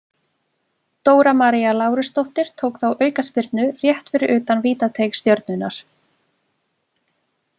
Dóra María Lárusdóttir tók þá aukaspyrnu rétt fyrir utan vítateig Stjörnunnar.